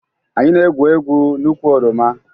Anyị na-egwu egwu n'ukwu oroma